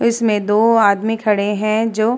इसमें दो आदमी खड़े हैं जो --